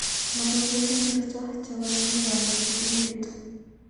Logoywek ngircho chebo neibaru kipindit